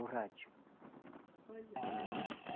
O rádio. Olha só